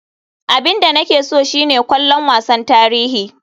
Abin da nake so shine kallon wasan tarihi.